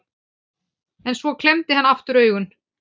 En svo klemmdi hann aftur augun.